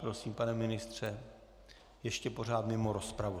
Prosím, pane ministře, ještě pořád mimo rozpravu.